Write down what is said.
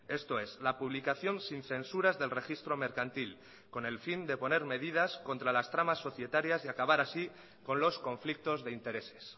esto es la publicación sin censuras del registro mercantil con el fin de poner medidas contra las tramas societarias y acabar así con los conflictos de intereses